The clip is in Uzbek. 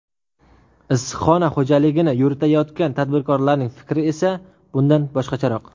Issiqxona xo‘jaligini yuritayotgan tadbirkorlarning fikri esa bundan boshqacharoq.